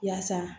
Yaasa